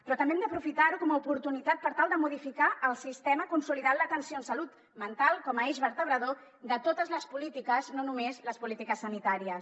però també hem d’aprofitar ho com a oportunitat per tal de modificar el sistema i consolidar l’atenció en salut mental com a eix vertebrador de totes les polítiques no només les polítiques sanitàries